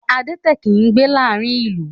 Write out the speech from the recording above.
Adẹ́tẹ̀ kìí gbé láàárín ìlú